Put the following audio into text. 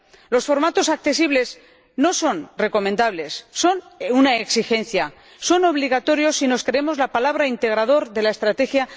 Los formatos accesibles no son recomendables, son una exigencia, son obligatorios si nos creemos la palabra integrador de la Estrategia